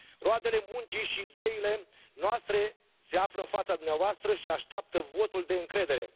Roadele muncii și ideilor noastre se află în fața dumneavoastră și așteaptă votul de încredere.